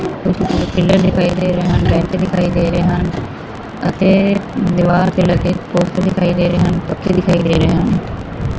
ਦਿਖਾਈ ਦੇ ਰਹੇ ਟੈਂਟ ਦਿਖਾਈ ਦੇ ਰਹੇ ਹਨ ਅਤੇ ਦੀਵਾਰ ਦੇ ਲੱਗੇ ਪੋਸਟਰ ਦਿਖਾਈ ਦੇ ਰਹੇ ਹਨ ਪੱਖੇ ਦਿਖਾਈ ਦੇ ਰਿਹਾ ਹਨ।